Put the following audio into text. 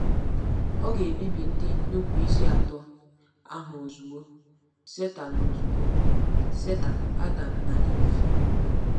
Ọ̀ ga-ebibi ndị nnupụisi atọ ahụ ozugbo— Setan ozugbo— Setan, Adam, na Iv?